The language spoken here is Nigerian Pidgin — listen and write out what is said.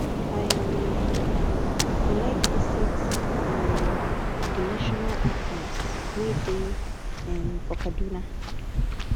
i um go like visit um the national archives wey dey um for kaduna